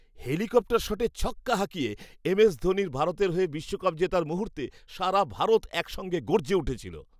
Helicopter শটে ছক্কা হাঁকিয়ে এম এস ধোনির ভারতের হয়ে বিশ্বকাপ জেতার মুহূর্তে সারা ভারত একসঙ্গে গর্জে উঠেছিল।